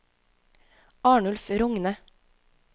Arnulf Rogne